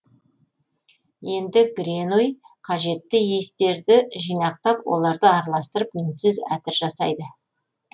енді гренуй қажетті иістерді жинақтап оларды араластырып мінсіз әтір жасайды